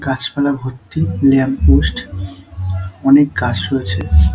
গাছপালা ভর্তি ল্যাম্পপোস্ট অনেক গাছও আছে ।